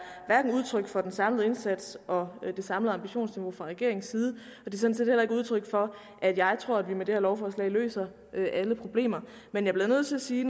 hverken udtryk for den samlede indsats og det samlede ambitionsniveau fra regeringens side eller udtryk for at jeg tror at vi med det her lovforslag løser alle problemer men jeg bliver nødt til at sige